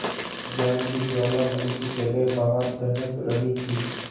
ज्ञान की ज्वाला मन की जगह बाहर दहक रही थी